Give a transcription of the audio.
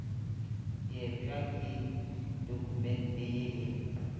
diepša ke dokumente ye e